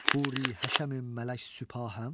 Huri həşəmin mələk süpahəm?